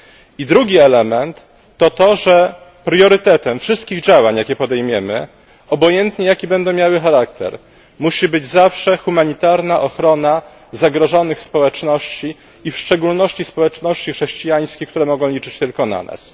I drugi element to to, że priorytetem wszystkich działań, jakie podejmiemy, obojętnie jaki będą miały charakter, musi być zawsze humanitarna ochrona zagrożonych społeczności i w szczególności społeczności chrześcijańskich, które mogą liczyć tylko na nas.